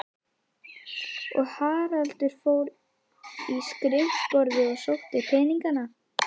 Og Haraldur fór í skrifborðið og sótti peningana.